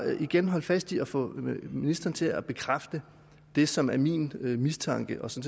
igen holde fast i at få ministeren til at bekræfte det som er min mistanke og som